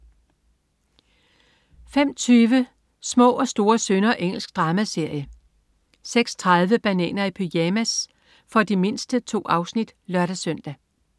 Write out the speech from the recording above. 05.20 Små og store synder. Engelsk dramaserie 06.30 Bananer i pyjamas pyjamas. For de mindste. 2 afsnit (lør-søn)